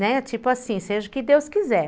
Né, tipo assim, seja o que Deus quiser.